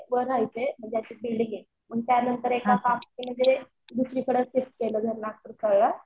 वर राहायचे म्हणजे असे बिल्डिंग आहे. मग त्यांनतर एका काकांकडे दुसरीकडे शिफ्ट केलं घर